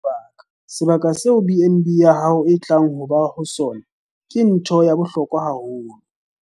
Sebaka - Sebaka seo BnB ya hao e tla bang ho lona ke ntho ya bohlokwa haholo.